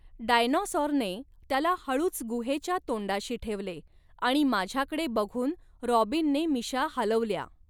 डायनॉसॉरने त्याला हळूच गुहेच्या तोंडाशी ठेवले आणि माझ्याकडे बघून रॉबिनने मिशा हालवल्या.